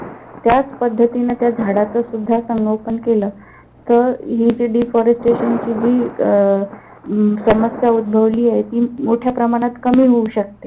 त्याच पद्धतीन त्या झाडाचं सुद्धा संगोपन केलं. तर हि जी deforestation जी अं समस्या उद्भवली आहे. ती मोठ्या प्रमाणात कमी होऊ शकते.